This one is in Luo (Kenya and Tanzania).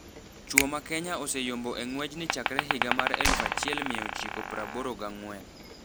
Chwo ma Kenya ose yombo e ngwejni chakre higa mar eluf achiel mia ochiko praboro gangwen.